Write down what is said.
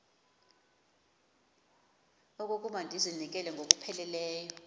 okokuba ndizinikele ngokupheleleyo